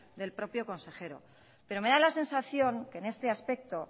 del propio consejero pero me da la sensación que en este aspecto